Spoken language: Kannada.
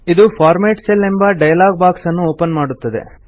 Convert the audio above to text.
ಇದು ಫಾರ್ಮೆಟ್ ಸೆಲ್ ಎಂಬ ಡೈಲಾಗ್ ಬಾಕ್ಸ್ ಅನ್ನು ಓಪನ್ ಮಾಡುತ್ತದೆ